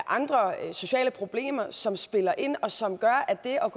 andre sociale problemer som spiller ind og som gør at det